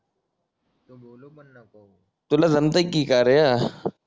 तुला जमतंय की का रया